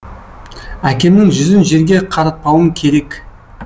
әкемнің жүзін жерге қаратпауым керек